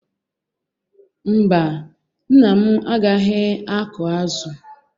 Mba, nna m agaghị akụ azụ.